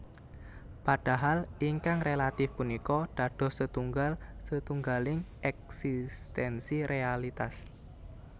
Padahal ingkang relatif punika dados setunggal setunggaling éksistensi realitas